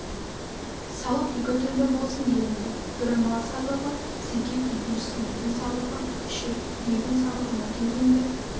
салық екі түрлі болсын делінді бірі мал салығы зекет екіншісі егін салығы үшір егін салығына келгенде